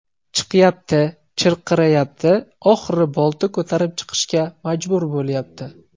Chiqyapti, chirqirayapti, oxiri bolta ko‘tarib chiqishga majbur bo‘lyapti.